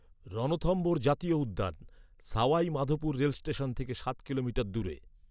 রণথম্ভোর জাতীয় উদ্যান, Sawai Madhopur rail station থেকে সাত কিলোমিটার দূরে।